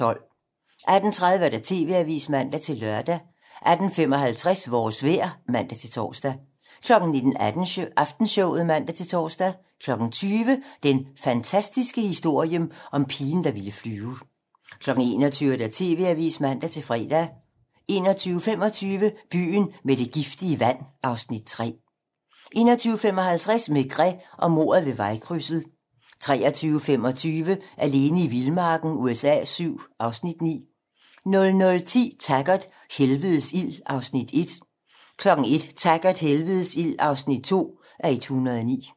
18:30: TV-Avisen (man-lør) 18:55: Vores vejr (man-tor) 19:00: Aftenshowet (man-tor) 20:00: Den fantastiske historie om pigen, der ville flyve 21:00: TV-Avisen (man-fre) 21:25: Byen med det giftige vand (Afs. 3) 21:55: Maigret og mordet ved vejkrydset 23:25: Alene i vildmarken USA VII (Afs. 9) 00:10: Taggart: Helvedes ild (1:109) 01:00: Taggart: Helvedes ild (2:109)